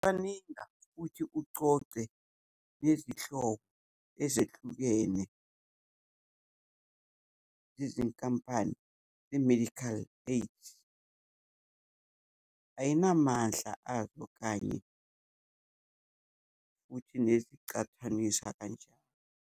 Cwaninga futhi ucoce nezihloko ezahlukene zezinkampani ze-medical aid. Ayinamandla azo kanye futhi nezicathaniswa kanjani.